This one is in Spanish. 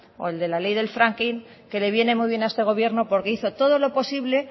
o el de la ley del fracking que le viene muy bien a este gobierno porque hizo todo lo posible